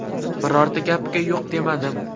Birorta gapiga yo‘q demadim.